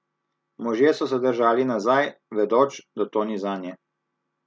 Možje so se držali nazaj, vedoč, da to ni zanje.